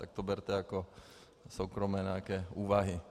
Tak to berte jako soukromé nějaké úvahy.